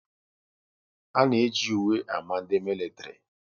A na eji uwe ámá ndị militiri